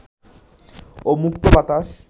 ও মুক্ত বাতাস